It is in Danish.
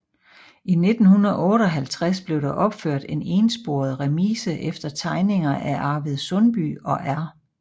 I 1958 blev der opført en ensporet remise efter tegninger af Arvid Sundby og R